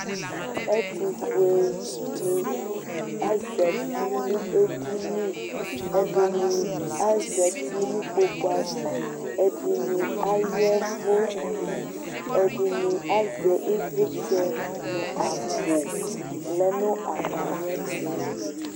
Ɛtʋfuenɩ azati nʋ edini Ɛdɩnɩ azati nʋ ikpoku ava, ɛdɩnɩ aya ɛvʋ, ɛdɩnɩ azɛ ɩvlɩtsɛ nʋ akpo lɛ nʋ atamɩɛtʋ